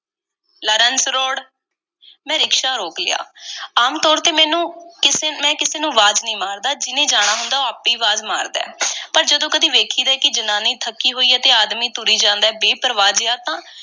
Lawrence road, ਮੈਂ rickshaw ਰੋਕ ਲਿਆ। ਆਮ ਤੌਰ ਤੇ ਮੈਂਨੂੰ ਕਿਸੇ, ਮੈਂ ਕਿਸੇ ਨੂੰ ਆਵਾਜ਼ ਨਹੀਂ ਮਾਰਦਾ। ਜਿਨ੍ਹੇ ਜਾਣਾ ਹੁੰਦੈ, ਉਹ ਆਪੇ ਆਵਾਜ਼ ਮਾਰਦਾ। ਪਰ ਜਦੋਂ ਕਦੀ ਵੇਖੀਦਾ ਐ ਕਿ ਜਨਾਨੀ ਥੱਕੀ ਹੋਈ ਐ ਤੇ ਆਦਮੀ ਤੁਰੀ ਜਾਂਦਾ ਐ, ਬੇਪਰਵਾਹ ਜਿਹਾ, ਤਾਂ